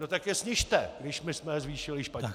No tak je snižte, když my jsme je zvýšili špatně!